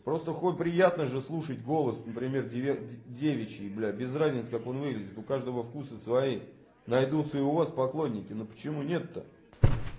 просто хоть приятно же слушать голос например девичий блядь без разницы как он выглядит у каждого вкуса свои найдутся и у вас поклонники но почему нет-то